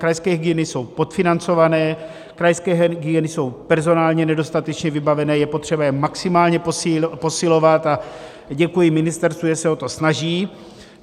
Krajské hygieny jsou podfinancované, krajské hygieny jsou personálně nedostatečně vybavené, je potřeba je maximálně posilovat, a děkuji ministerstvu, že se o to snaží.